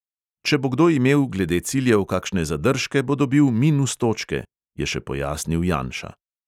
"Če bo kdo imel glede ciljev kakšne zadržke, bo dobil minus točke," je še pojasnil janša.